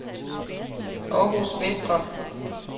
Århus Vestre